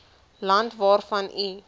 land waarvan u